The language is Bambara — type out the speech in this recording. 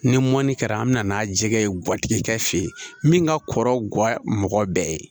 Ni mɔni kɛra an bɛ na n'a jɛgɛ ye guwatigi kɛ fɛ yen min ka kɔrɔ mɔgɔ bɛɛ ye